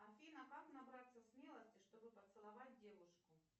афина как набраться смелости чтобы поцеловать девушку